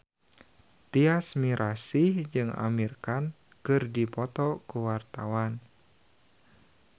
Tyas Mirasih jeung Amir Khan keur dipoto ku wartawan